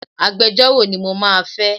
Agbejọ́rò ni mo máa fẹ́.